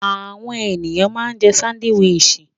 Àwọn ènìyàn ma ń jẹ́ sándíwìsì